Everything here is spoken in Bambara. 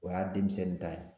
O y'a denmisɛnni ta ye